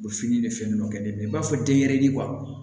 U bɛ fini de fɛn dɔ kɛ ne la i b'a fɔ denyɛrɛnin